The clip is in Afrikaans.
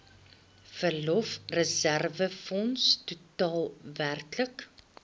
verlofreserwefonds totaal werklik